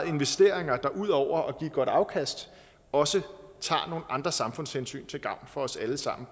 investeringer der ud over at give et godt afkast også tager nogle andre samfundshensyn til gavn for os alle sammen